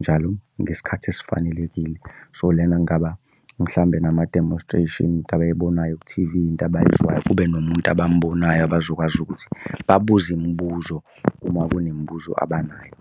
njalo ngesikhathi esifanelekile. So lena kungaba mhlawumbe nama-demonstration, into abayibonayo ku-T_V, into abayizwayo. Kube nomuntu abambonayo abazokwazi ukuthi babuze imibuzo uma kunemibuzo abanayo.